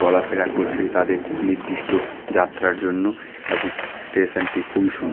চলাফেরা করছে তাদের নির্দিষ্ট যাত্রার জন্য এবং স্টেশন -টি খুবই সুন--